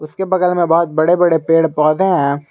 उसके बगल में बहोत बड़े बड़े पेड़ पौधे हैं।